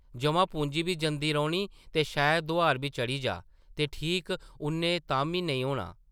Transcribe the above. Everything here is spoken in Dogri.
जʼमा-पूंजी बी जंदी रौह्नी ते शायद दोआर बी चढ़ी जाऽ ते ठीक उʼन्नै ताह्म्मी नेईं होना ।